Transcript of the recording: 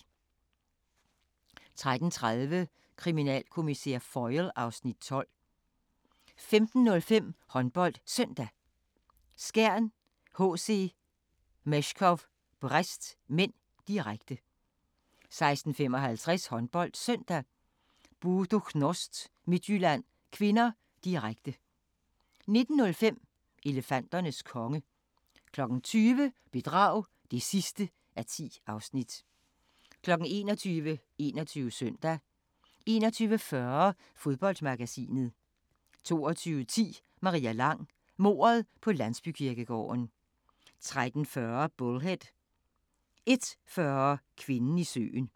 13:30: Kriminalkommissær Foyle (Afs. 12) 15:05: HåndboldSøndag: Skjern-HC Meshkov Brest (m), direkte 16:55: HåndboldSøndag: Buducnost-Midtjylland (k), direkte 19:05: Elefanternes konge 20:00: Bedrag (10:10) 21:00: 21 Søndag 21:40: Fodboldmagasinet 22:10: Maria Lang: Mordet på landsbykirkegården 23:40: Bullhead 01:40: Kvinden i søen